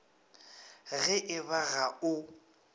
ge e ba ga o